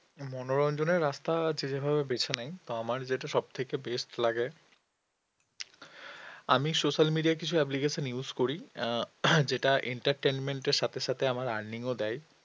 মনোরঞ্জনের রাস্তা যে যেভাবে বেছে নেয় আমার যেটা সব থেকে best লাগে আমি social media র কিছু application use করি আহ যেটা entertainment এর সাথে সাথে আমার earning ও দেয়